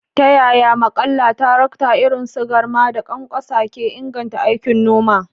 Ta yaya maƙallan tarakta irin su garma da ƙwanƙwasa ke inganta aikin noma?